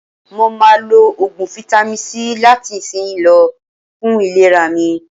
Mà á ma lo Ògùn fáítámì C láti ìsinsìnyí lọ, fún ìlera mi.